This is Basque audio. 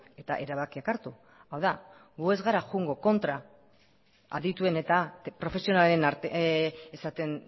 eta erabakiak hartu hau da gu ez gara joango kontra adituen eta profesionalen esaten